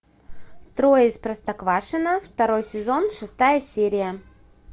трое из простоквашино второй сезон шестая серия